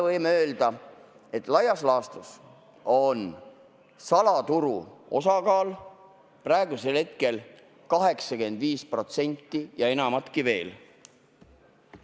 Võime öelda, et laias laastus on salaturu osakaal praegu 85% ja enamatki veel.